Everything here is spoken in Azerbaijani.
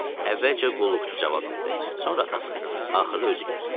Əvvəlcə qulluqçu cavab verdi, sonra atası, axırda özü gəldi.